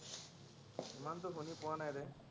ইমানটো শুনি পোৱা নাই